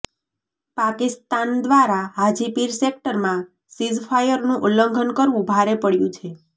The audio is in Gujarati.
પાકિસ્તાન દ્વારા હાજીપીર સેક્ટરમાં સીઝફાયરનું ઉલ્લંઘન કરવું ભારે પડ્યું છે